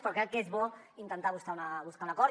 però crec que és bo intentar buscar un acord